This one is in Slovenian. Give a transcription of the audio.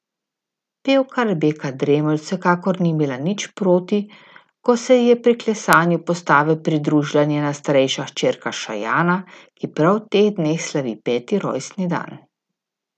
Pevka Rebeka Dremelj vsekakor ni imela nič proti, ko se ji je pri klesanju postave pridružila njena starejša hčerka Šajana, ki prav v teh dneh slavi peti rojstni dan.